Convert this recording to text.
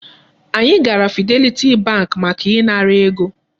Anyị gara Fidelity bank maka ị ṅara ego.